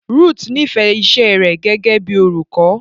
Ruth nífẹ̀ẹ́ iṣẹ́ rẹ̀ gẹ́gẹ́ bíi olùkọ́.